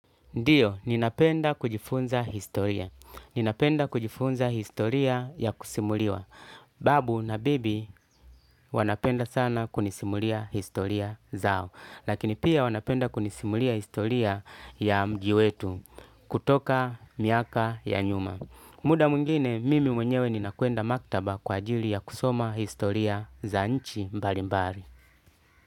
Ndiyo, ninapenda kujifunza historia. Ninapenda kujifunza historia ya kusimuliwa. Babu na bibi wanapenda sana kunisimulia historia zao. Lakini pia wanapenda kunisimulia historia ya mji wetu kutoka miaka ya nyuma. Muda mwingine, mimi mwenyewe ninakwenda maktaba kwa ajili ya kusoma historia za nchi mbalimbari.